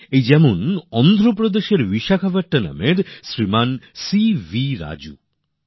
এখন যেরকম অন্ধ্রপ্রদেশের বিশাখাপত্তনমের শ্রী সিবি রাজু আছেন